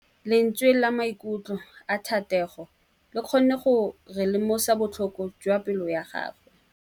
Lentswe la maikutlo a Thategô le kgonne gore re lemosa botlhoko jwa pelô ya gagwe.